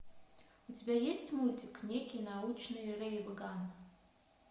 у тебя есть мультик некий научный рейлган